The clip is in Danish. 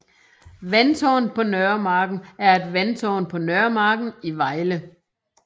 Vandtårnet på Nørremarken er et vandtårn på Nørremarken i Vejle